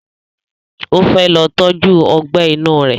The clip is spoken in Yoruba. O fẹ́ lọ tọ́jú Ọgbẹ́ inú rẹ̀